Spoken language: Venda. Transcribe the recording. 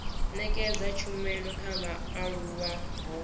nekedza tshumelo kha vhaaluwa ho